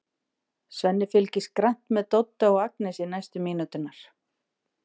Svenni fylgist grannt með Dodda og Agnesi næstu mínúturnar.